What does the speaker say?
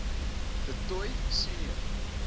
du toit senior